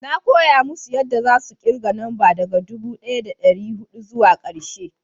na koya musu yanda za su kirga namba daga dubu daya da dari hudu zuwa karshe